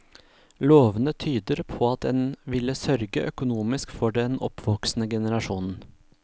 Lovene tyder på at en ville sørge økonomisk for den oppvoksende generasjonen.